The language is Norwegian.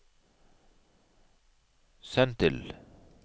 send til